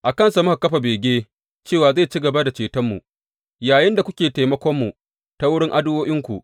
A kansa muka kafa bege cewa zai ci gaba da cetonmu, yayinda kuke taimakonmu ta wurin addu’o’inku.